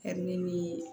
ni